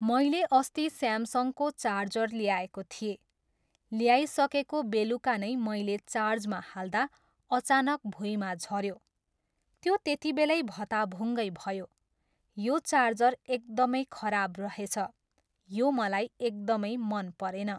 मैले अस्ति स्यामसङको चार्जर ल्याएको थिएँ, ल्याइसकेको बेलुका नै मैले चार्जमा हाल्दा अचानक भुइँमा झऱ्यो। त्यो त्यतिबेलै भताभुङ्गै भयो। यो चार्जर एकदमै खराब रहेछ, यो मलाई एकदमै मन परेन।